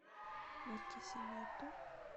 баркисимето